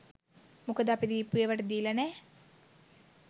මොකද අපි දීපු ඒවාටදීලා නෑ.